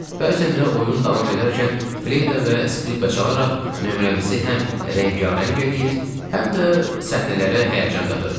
Bəzən də oyun davam edərkən fleyta və skripka çalaraq nömrəmizi həm rəngarəng eləyir, həm də səhnələrə həyəcan qatırdı.